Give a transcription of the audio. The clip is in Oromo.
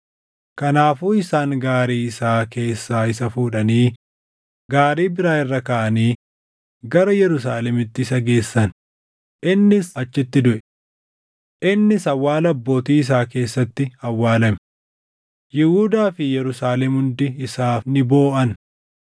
Kanaafuu isaan gaarii isaa keessaa isa fuudhanii gaarii biraa irra kaaʼanii gara Yerusaalemitti isa geessan; innis achitti duʼe. Innis awwaala abbootii isaa keessatti awwaalame; Yihuudaa fi Yerusaalem hundi isaaf ni booʼan.